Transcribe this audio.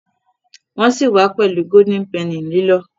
Nwọn si wá pẹlú Golden Penny lilọ